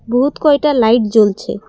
বহুত কয়টা লাইট জ্বলছে।